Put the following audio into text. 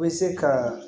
U bɛ se ka